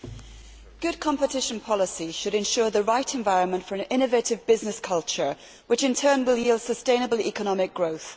Madam President, good competition policy should ensure the right environment for an innovative business culture which, in turn, will yield sustainable economic growth.